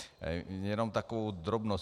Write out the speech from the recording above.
Jenom takovou drobnost.